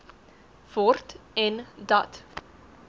word en dat